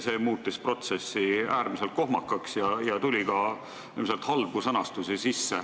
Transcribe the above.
See muutis protsessi äärmiselt kohmakaks ja ilmselt tuli sisse ka halbu sõnastusi.